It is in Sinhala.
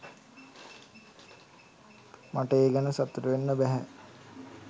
මට ඒ ගැන සතුටු වෙන්න බැහැ.